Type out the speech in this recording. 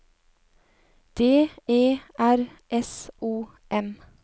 D E R S O M